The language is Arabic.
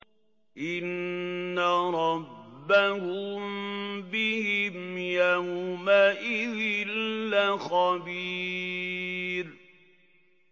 إِنَّ رَبَّهُم بِهِمْ يَوْمَئِذٍ لَّخَبِيرٌ